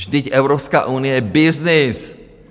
Vždyť Evropská unie je byznys!